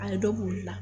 A ye dɔ k'olu la